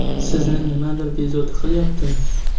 Sizni nimadir bezovta qilyaptimi?